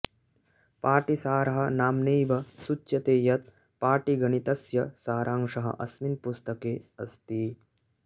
पाटीसारः नाम्नैव सूच्यते यत् पाटीगणीतस्य सारांशः अस्मिन् पुस्तके अस्ति